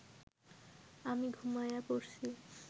আমি ঘুমায়া পড়সি